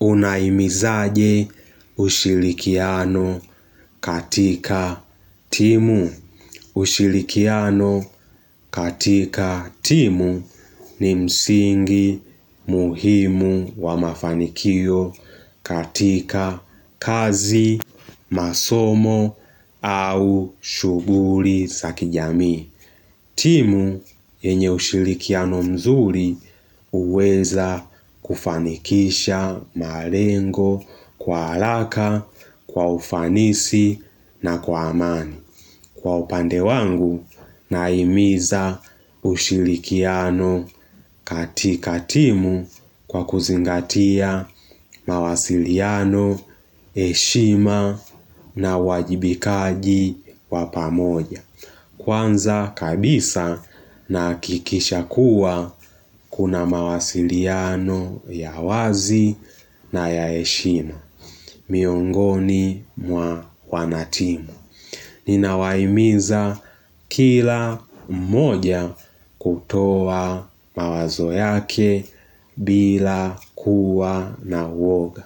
Unahimizaje ushirikiano katika timu. Usirikiano katika timu ni msingi muhimu wa mafanikio katika kazi, masomo au shughuli za kijamii. Timu yenye ushirikiano mzuri huweza kufanikisha malengo kwa haraka, kwa ufanisi na kwa amani. Kwa upande wangu nahimiza ushirikiano katika timu kwa kuzingatia mawasiliano, heshima na uwajibikaji wa pamoja. Kwanza kabisa nahakikisha kuwa kuna mawasiliano ya wazi na ya heshima. Miongoni mwa wana timu. Ninawahimiza kila moja kutoa mawazo yake bila kuwa na uoga.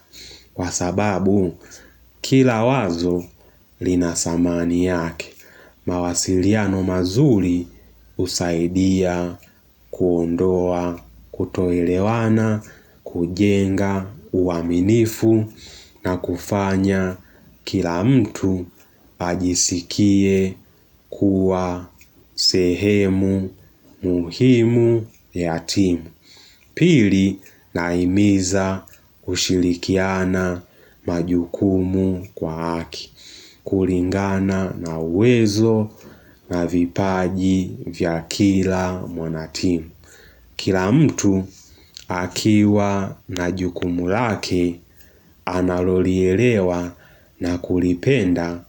Kwa sababu kila wazo lina samani yake, mawasiliano mazuri husaidia kuondoa, kutoelewana, kujenga, uaminifu na kufanya kila mtu ajisikie kuwa sehemu muhimu ya timu. Pili nahimiza kushirikiana majukumu kwa haki, kulingana na uwezo na vipaji vya kila mwana timu. Kila mtu akiwa na jukumu lake analolielewa na kulipenda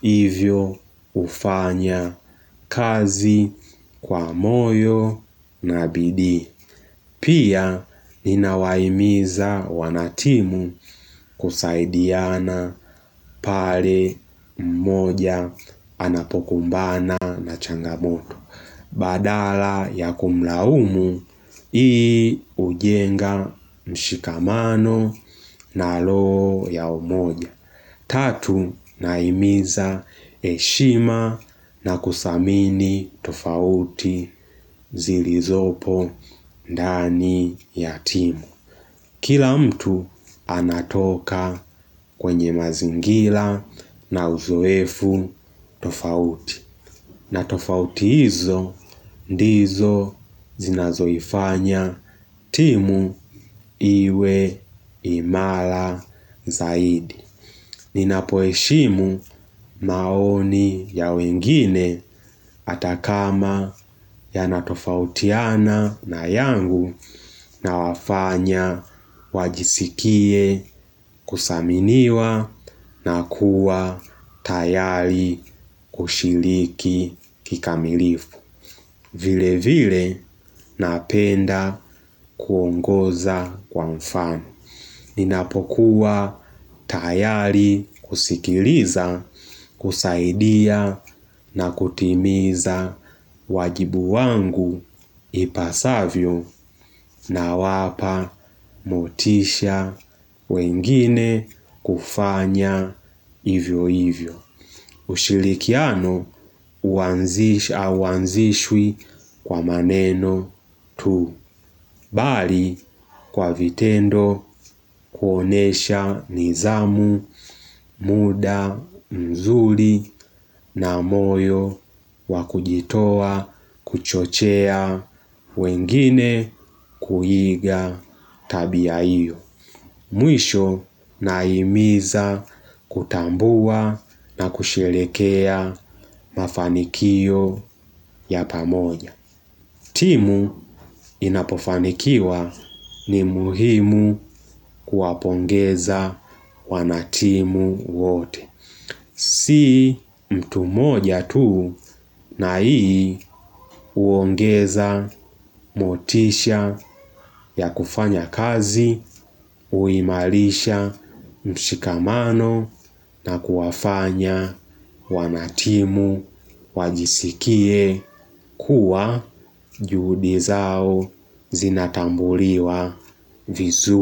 hivyo hufanya kazi kwa moyo na bidii. Pia ninawahimiza wanatimu kusaidiana pale mmoja anapokumbana na changamoto Badala ya kumlaumu hii hujenga mshikamano na roho ya umoja Tatu nahimiza heshima na kuthamini tofauti zilizopo dani ya timu Kila mtu anatoka kwenye mazingira na uzoefu tofauti na tofauti hizo ndizo zinazoifanya timu iwe imara zaidi Ninapo heshimu maoni ya wengine hata kama yanatofautiana na yangu nawafanya wajisikie kuthaminiwa na kuwa tayari kushiriki kikamilifu. Vile vile napenda kuongoza kwa mfano Ninapokuwa tayari kusikiliza, kusaidia na kutimiza wajibu wangu ipasavyo nawapa motisha wengine kufanya vivyo hivyo ushirikiano huanzishwi kwa maneno tu. Bali kwa vitendo kuonyesha nidhamu muda mzuri na moyo wa kujitoa kuchochea wengine kuiga tabia hiyo. Mwisho nahimiza kutambua na kusherehekea mafanikio ya pamoja timu inapofanikiwa ni muhimu kuwapongeza wanatimu wote Si mtu moja tu na hii huongeza motisha ya kufanya kazi huimarisha mshikamano na kuwafanya wanatimu wajisikie kuwa juhudi zao zinatambuliwa vizuri.